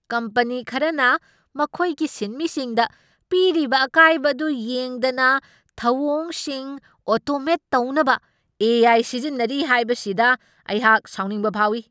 Company ꯈꯔꯅ ꯃꯈꯣꯏꯒꯤ ꯁꯤꯟꯃꯤꯁꯤꯡꯗ ꯄꯤꯔꯤꯕ ꯑꯀꯥꯏꯕ ꯑꯗꯨ ꯌꯦꯡꯗꯅ ꯊꯧꯑꯣꯡꯁꯤꯡ ꯑꯣꯇꯣꯃꯦꯠ ꯇꯧꯅꯕ ꯑꯦ. ꯑꯥꯏ. ꯁꯤꯖꯤꯟꯅꯔꯤ ꯍꯥꯏꯕꯁꯤꯗ ꯑꯩꯍꯥꯛ ꯁꯥꯎꯅꯤꯡꯕ ꯐꯥꯎꯏ꯫